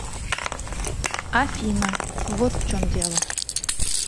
афина вот в чем дело